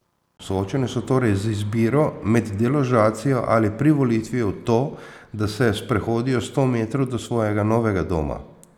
Soočeni so torej z izbiro med deložacijo ali privolitvijo v to, da se sprehodijo sto metrov do svojega novega doma.